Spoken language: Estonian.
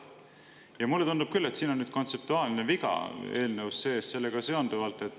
Ja mulle tundub küll, et siin on kontseptuaalne viga eelnõus sees.